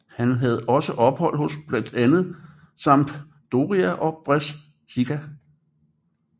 Han havde også ophold hos blandt andet Sampdoria og Brescia